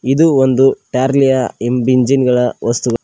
ಇದು ಒಂದು ಟ್ಯಾರ್ಲಿಯ ಇನ್ ಬಿಂಜಿನ್ ಗಳ ವಸ್ತುಗಳ್--